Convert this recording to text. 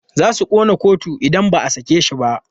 Za su ƙona kotu idan ba a sake shi ba.